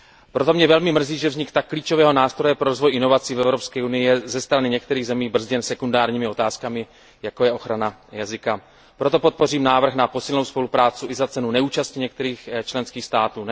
Proto mě velmi mrzí, že vznik tak klíčového nástroje pro rozvoj inovací v Evropské unii je ze strany některých zemí brzděn sekundárními otázkami, jako je ochrana jazyka. Proto podpořím návrh na posílenou spolupráci i za cenu neúčasti některých členských států.